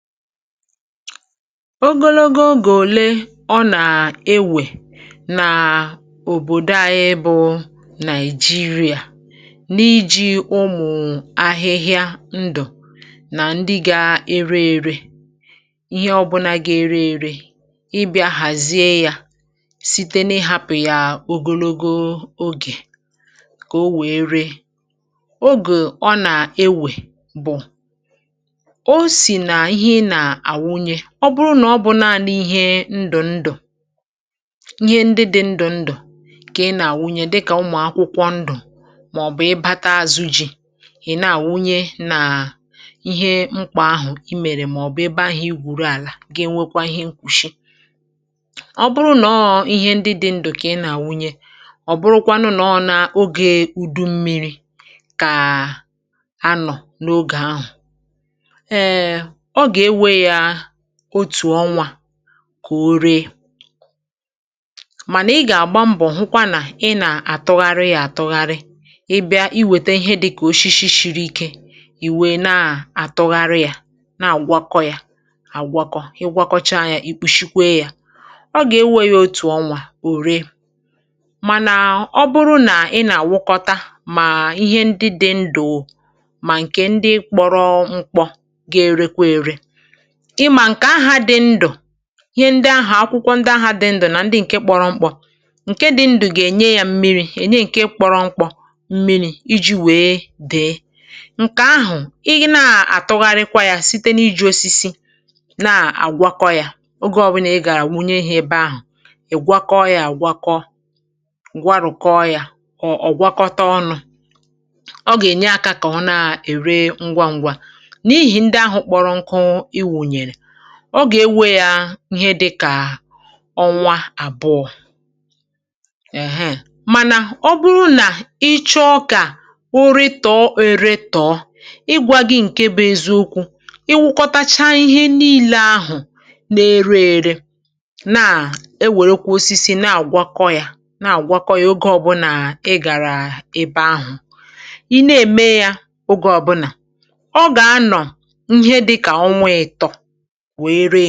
Ogologo ogè òle ọ nà-ewè nà òbòdò à, ịbụ̇ Nàịjíríà n’iji̇ ụmụ̀ ahịhịa ndụ̀ nà ndị gà-ere ere? Ihe ọbụna gà-ere ere, ịbị̇ȧ hàzie yȧ site n’ịhapụ̀ ya ogologo ogè kà o wèe ree. Ogè ọ nà-ewè bụ̀: ọ bụrụ nà ọ bụ naanị̇ ihe ndụ̀ ndụ̀, ihe ndị dị̇ ndụ̀ ndụ̀ kà ị nà-àwụnye, dịkà ụmụ̀ akwụkwọ ndụ̀ màọbụ̀ ịbata azụ ji̇ ị̀ nà-àwụnye, nà ihe mkpà ahụ̀ i mèrè màọbụ̀ ebe ahụ̀ i gwùru àlà, gà-enwekwa ihe nkwùshi.Ọ bụrụ nà ọ bụ naanị ihe ndị dị̇ ndụ̀ kà ị nà-àwụnye um, ọ bụrụkwanụ nà ọ nà ogè ùdu mmiri kà ànọ̀ n’ogè ahụ̀, òtù ọnwȧ kà o ree. Mànà ị gà-àgba mbọ̀ hụkwa nà ị nà-àtụgharị ya, àtụgharị. Ị bịa iwète ihe dị̇kà ọshishi shìrì íké, ì wee nà-àtụgharị ya, na-àgwakọ ya, àgwakọ. Ị gwakọcha ya um, ì kpùshikwe ya, ọ gà-enweghị̇ òtù ọnwȧ ò ree. Mànà ọ bụrụ nà ị nà-àwụkwọta mà ihe ndị dị̇ ndụ̀ mà ǹkè ndị kpọrọ mkpọ, gà-erekwa ère. Ihe ndị ahụ̀, akwụkwọ ndị ahụ̀ dị̇ ndụ̀ nà ndị ǹkè kpọrọ mkpọ̇, ǹkè dị̇ ndụ̀ gà-ènye yȧ mmiri̇, ènye ǹkè kpọrọ mkpọ̇ mmiri̇, iji̇ wèe dị̀e. Ǹkè ahụ̀ i nà-àtụgharịkwa yȧ site n’iji̇ osisi na-àgwakọ yȧ (pause small), oge ọbụlà ị gà-àwụnye ihe ebe ahụ̀, ì gwakọ yȧ àgwakọ, gwarụ̀kọ yȧ. Ọ̀ ọ̀ gwakọta ọnụ̇, ọ gà-ènye akȧ kà ọ na-ère ngwa ṅgwȧ.Ọ gà-enwe yȧ ihe dị̇kà ọnwa àbụọ um, èheè. Mànà ọ bụrụ nà i chọọ kà ụrị tọ̀ọ, ere tọ̀ọ, ị gwȧgị ǹkè bụ̇ eziukwu̇: ì wụkọtacha ihe niile ahụ̀ na-ere ere um, na-à e wèrè kwȧ osisi na-àgwakọ yȧ, na-àgwakọ yȧ oge ọ̀bụna ị gàrà ebe ahụ̀ i nà-ème yȧ, oge ọ̀bụna ọ gà-anọ̀ ihe dị̇kà ọnwa atọ, wèe ree.